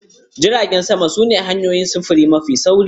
Jiragen sama su ne hanyoyin sufuri mafi sauri.